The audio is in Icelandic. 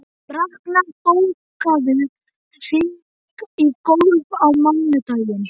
Raknar, bókaðu hring í golf á mánudaginn.